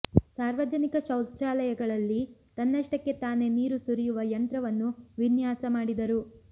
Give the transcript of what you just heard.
ಸಾರ್ವಜನಿಕ ಶೌಚಾಲಯಗಳಲ್ಲಿ ತನ್ನಷ್ಟಕ್ಕೆ ತಾನೇ ನೀರು ಸುರಿಯುವ ಯಂತ್ರವನ್ನು ವಿನ್ಯಾಸ ಮಾಡಿದರು